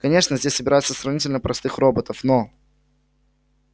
конечно здесь собираются сравнительно простых роботов но